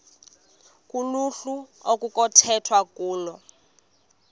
kuluhlu okunokukhethwa kulo